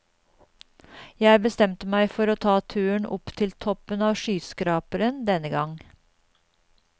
Jeg bestemte meg for å ta turen opp til toppen av skyskraperen denne gang.